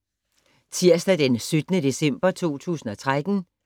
Tirsdag d. 17. december 2013